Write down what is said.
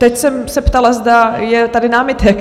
Teď jsem se ptala, zda je tady námitek.